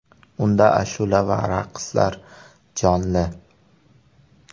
Unda ashula va raqslar jonli.